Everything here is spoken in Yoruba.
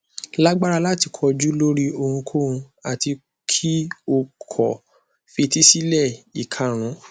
lagbara lati koju lori ohunkohun ati ki o ko fetísílẹ ikarun